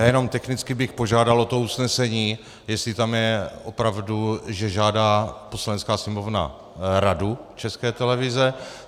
Já jenom technicky bych požádal o to usnesení, jestli tam je opravdu, že žádá Poslanecká sněmovna Radu České televize.